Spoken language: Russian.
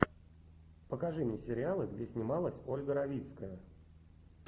покажи мне сериалы где снималась ольга равицкая